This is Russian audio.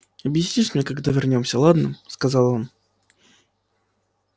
объяснишь когда вернёмся ладно сказал он